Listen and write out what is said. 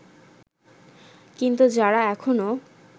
কিন্তু যারা এখনও